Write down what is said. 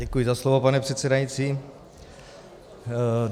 Děkuji za slovo, pane předsedající.